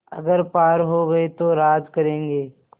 अगर पार हो गये तो राज करेंगे